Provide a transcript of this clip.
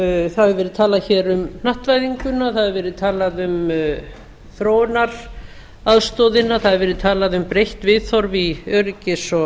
það hefur verið talað hér um hnattvæðinguna það hefur verið talað um þróunaraðstoðina það hefur verið talað um breytt viðhorf í öryggis og